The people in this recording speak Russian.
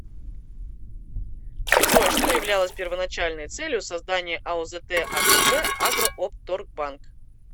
джой что являлось первоначальной целью создания аозт акб агроопторгбанк